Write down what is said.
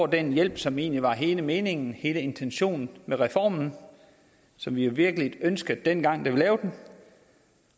den hjælp som egentlig var hele meningen hele intentionen med reformen og som vi virkelig ønskede dengang vi lavede den